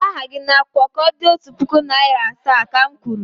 Dee aha gị n'akwụkwọ ka o di otu puku na iri asaa, ka m kwuru!